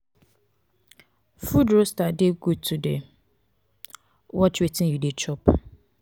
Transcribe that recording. food roaster de good to de watch wetin you de chop